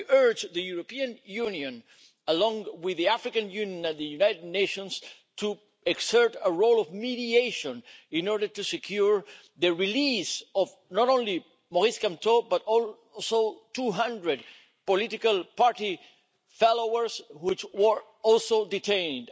We urge the European Union, along with the African Union and the United Nations, to exert a role of mediation in order to secure the release not only of Maurice Kamto but also of 200 political party followers, who were also detained.